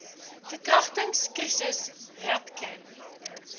verkragtings krisis rapcan